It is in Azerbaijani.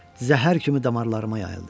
Zəhər kimi damarlarıma yayıldı.